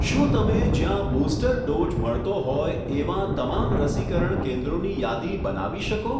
શું તમે જ્યાં બુસ્ટર ડોઝ મળતો હોય એવાં તમામ રસીકરણ કેન્દ્રોની યાદી બનાવી શકો?